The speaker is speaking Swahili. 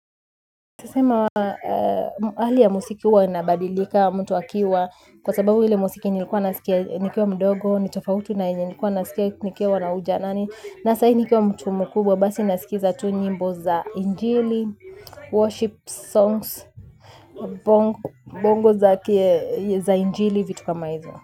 Nitasema hali ya muziki huwa inabadilika mtu akiwa kwa sababu ile muziki nilikuwa nasikia nikiwa mdogo. Nitofauti na yenye nilikuwa nasikia nikiwa na ujanani. Na sahi nikiwa mtu mkubwa. Basi naskiza tu nyimbo za injili Worship songs Bongo za injili vitu kama hizo.